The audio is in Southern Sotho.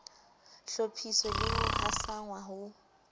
hlophiswe le ho hasanngwa ho